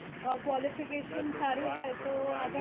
અ qualification સારું હોય તો આગળ